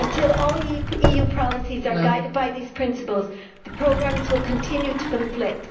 Until all EU policies are guided by these principles, programmes will continue to conflict.